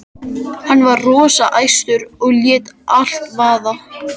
Hann var rosa æstur og lét allt vaða.